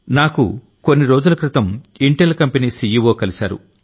నాకు కొన్ని రోజుల క్రితం ఇంటెల్ కంపెనీ సీఈఓ కలిశారు